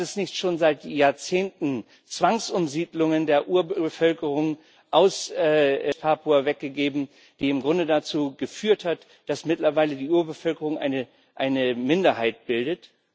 Hat es nicht schon seit Jahrzehnten Zwangsumsiedlungen der Urbevölkerung aus West Papua weg gegeben, die im Grunde dazu geführt haben, dass mittlerweile die Urbevölkerung eine Minderheit bildet?